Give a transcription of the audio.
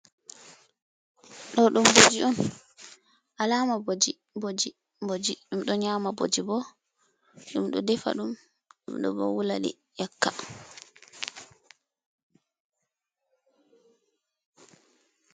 "Ɗo ɗum boji on" Alama ɓoji, boji, boji, ɗum ɗo nyama boji bo ɗum ɗo defa ɗum ɗum ɗo bo wuladi ƴakka.